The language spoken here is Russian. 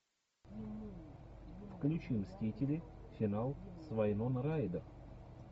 включи мстители финал с вайнона райдер